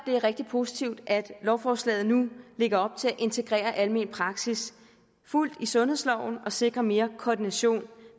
det er rigtig positivt at lovforslaget nu lægger op til at integrere almen praksis fuldt i sundhedsloven og sikre mere koordination